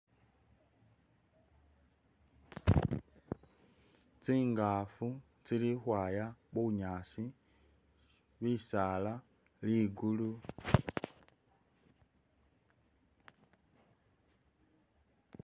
Tsingafu tsili khukhwaya bunyaasi. Bisaala, ligulu